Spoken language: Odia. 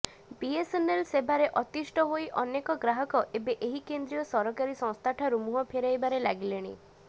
ବିଏସ୍ଏନ୍ଏଲ୍ ସେବାରେ ଅତିଷ୍ଠ ହୋଇ ଅନେକ ଗ୍ରାହକ ଏବେ ଏହି କେନ୍ଦ୍ରୀୟ ସରକାରୀ ସଂସ୍ଥାଠାରୁ ମୁହଁ ଫେରାଇବାରେ ଲାଗିଲେଣି